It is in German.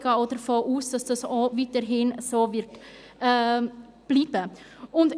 Auch gehe ich davon aus, dass es weiterhin so bleiben wird.